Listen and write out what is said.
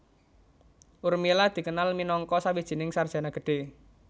Urmila dikenal minangka sawijining sarjana gedhe